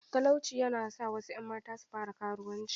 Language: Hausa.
Talauci ya na sa wasu ‘yan mata su fara karuwanci.